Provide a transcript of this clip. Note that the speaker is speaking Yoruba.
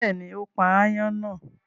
Bẹ́ẹ̀ni, ó pa aáyán náà.